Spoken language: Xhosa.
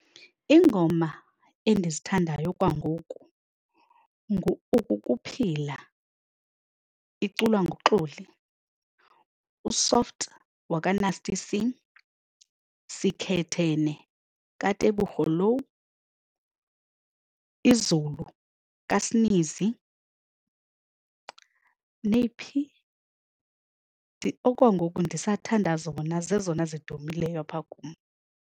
Iingoma endizithandayo kwangoku ngu-Ukukuphila, ukuphila iculwa nguXoli, uSoft wakaNasty C, Sikhethene kaTebogo Louw, Izulu kaaSneezy. Neyiphi? Okwangoku ndisathanda zona, zezona zidumileyo apha kum.